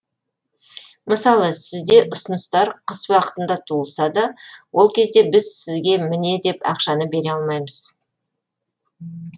мысалы сізде ұсыныстар қыс уақытында туылса да ол кезде біз сізге міне деп ақшаны бере алмаймыз